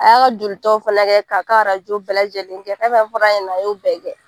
A y'a jolitaw fana kɛ k'a ka arajo bɛɛ lajɛlen kɛ fɛn fɛn fɔr'a ŋana a y'o bɛɛ kɛ.